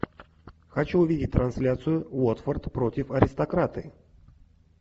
хочу увидеть трансляцию уотфорд против аристократы